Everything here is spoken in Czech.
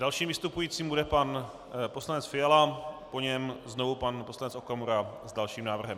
Dalším vystupujícím bude pan poslanec Fiala, po něm znovu pan poslanec Okamura s dalším návrhem.